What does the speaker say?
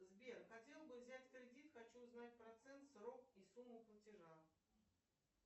сбер хотел бы взять кредит хочу узнать процент срок и сумму платежа